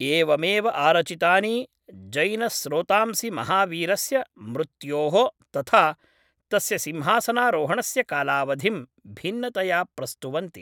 एवमेव आरचितानि जैनस्रोतांसि महावीरस्य मृत्योः तथा तस्य सिंहासनारोहणस्य कालावधिं भिन्नतया प्रस्तुवन्ति।